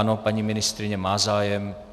Ano, paní ministryně má zájem.